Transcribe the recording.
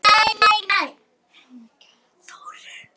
Hér á hún eftir að standa frammi fyrir öllum.